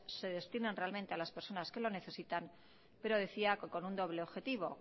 se destinan realmente a las personas que lo necesitan pero decía que con un doble objetivo